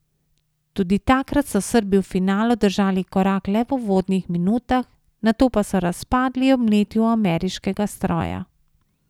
Tudi takrat so Srbi v finalu držali korak le v uvodnih minutah, nato pa so razpadli ob mletju ameriškega stroja.